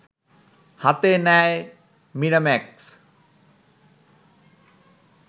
হাতে নেয় মিরাম্যাক্স